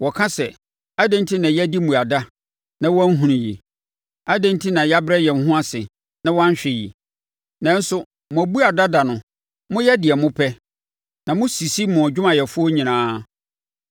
Wɔka sɛ, ‘Adɛn enti na yɛadi mmuada na woanhunu yi? Adɛn enti na yɛabrɛ yɛn ho ase, na woanhwɛ yi?’ “Nanso mo abuada da no, moyɛ deɛ mopɛ na mosisi mo adwumayɛfoɔ nyinaa.